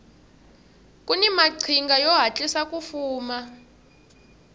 kuni maqhinga yo hatlisa ku fuma